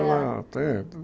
Ah tem